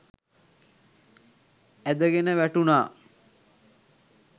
ඇදගෙන වැටුණා.